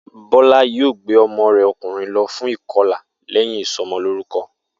Bó̩lá yóò gbé o̩mo̩ rè̩ o̩kùnrin lo̩ fún ìko̩là lé̩yìn ìso̩mo̩lórúko̩